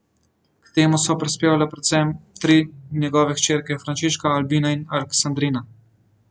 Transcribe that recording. K temu so prispevale predvsem tri njegove hčerke Frančiška, Albina in Aleksandrina.